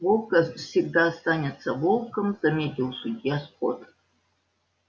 волк всегда останется волком заметил судья скотт